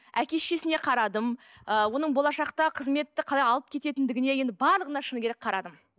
әке шешесіне қарадым ы оның болашақтағы қызметті қалай алып кететіндігіне енді барлығына шыны керек қарадым